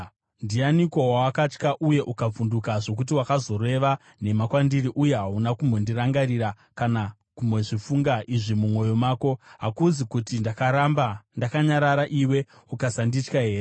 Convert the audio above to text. “Ndianiko wawakatya uye ukavhunduka zvokuti wakazoreva nhema kwandiri, uye hauna kumbondirangarira kana kumbozvifunga izvi mumwoyo mako? Hakuzi kuti ndakaramba ndakanyarara iwe ukasanditya here?